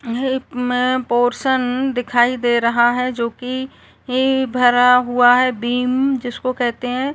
में पोर्शन दिखाई दे रहा है जो कि ई भरा हुआ है बीम जिसको कहते हैं --